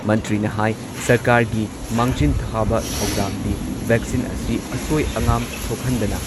ꯃꯟꯇ꯭ꯔꯤꯅ ꯍꯥꯏ ꯁꯔꯀꯥꯔꯒꯤ ꯃꯥꯡꯖꯤꯟ ꯊꯥꯕ ꯊꯧꯗꯥꯡꯗꯤ ꯚꯦꯛꯁꯤꯟ ꯑꯁꯤ ꯑꯁꯣꯏ ꯑꯉꯥꯝ ꯊꯣꯛꯍꯟꯗꯅ